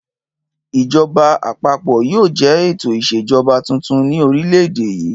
Ìjọba àpapọ̀ yóò jẹ́ ètò ìṣèjọba tuntun ní orílẹ̀-èdè yìí.